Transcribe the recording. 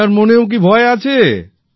আপনার মনেও কি ভয় আছে